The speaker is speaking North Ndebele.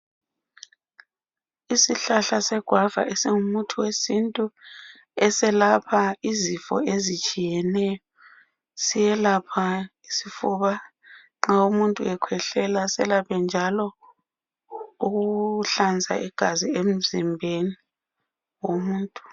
Isihlahla segwava esingumuthi wesintu eselapha izifo ezitshiyeneyo. Siyelapha isifuba nxa umuntu ekhwehlela selaphe njalo ukuhlanza igazi emzimbeni womuntu.